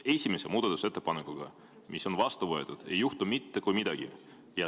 Esimese muudatusettepanekuga, mis on vastu võetud, ei juhtu mitte kui midagi.